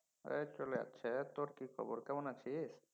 এই চলে যাচ্ছে। তোর কি খবর কেমন আছিস?